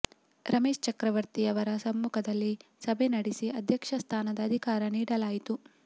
ರಮೇಶ್ ಚಕ್ರವರ್ತಿಯವರ ಸಮ್ಮುಖದಲ್ಲಿ ಸಭೆ ನಡೆಸಿ ಅಧ್ಯಕ್ಷ ಸ್ಥಾನದ ಅಧಿಕಾರ ನೀಡಲಾಯಿತು